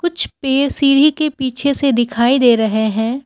सीढ़ी के पीछे से दिखाई दे रहे हैं।